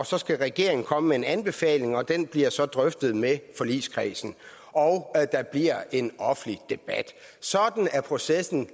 så skal regeringen komme med en anbefaling og den bliver så drøftet med forligskredsen og der bliver en offentlig debat sådan er processen